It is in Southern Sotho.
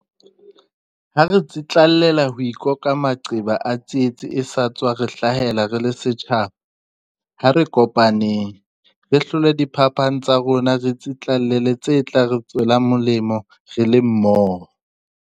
Ha re tsitlallela ho ikoka maqeba a tsietsi e sa tswa re hlahela re le setjhaba, ha re kopaneng. Re hlole diphapano tsa rona re tsitlallele tse tla re tswela molemo re le mmoho.